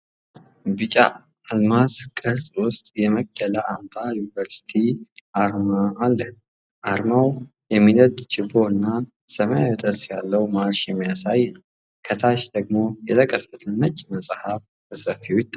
ቢጫ ባለው አልማዝ ቅርጽ ውስጥ የመቅደላ አምባ ዩኒቨርሲቲ አርማ አለ። አርማው የሚነድ ችቦ እና ሰማያዊ ጥርስ ያለው ማርሽ የሚያሳይ ነው፣ ከታች ደግሞ የተከፈተ ነጭ መጽሐፍ በሰፊው ይታያል።